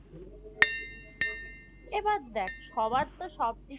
এবার দেখ সবার তো সব দিকে